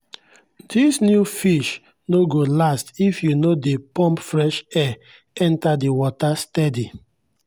this new fish no go last if you no dey pump fresh air enter the water steady.